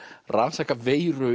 rannsaka veiru